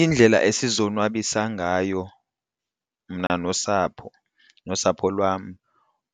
Iindlela esizonwabisa ngayo mna nosapho nosapho lwam